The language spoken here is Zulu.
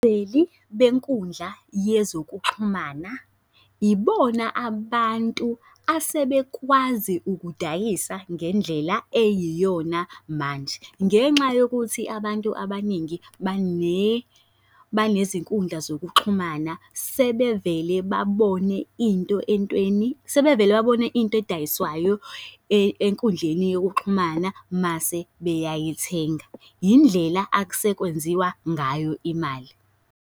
benkundla yezokuxhumana, ibona abantu asebekwazi ukudayisa ngendlela eyiyona manje. Ngenxa yokuthi abantu abaningi banezinkundla zokuxhumana, sebevele babone into entweni, sebevele babone into edayiswayo enkundleni yokuxhumana mase beyayithenga. Yindlela akusekwenziwa ngayo imali.